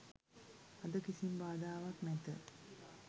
අද කිසිම බාධාවක් නැත